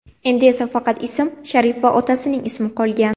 Endi esa faqat ism, sharif va otasining ismi qolgan.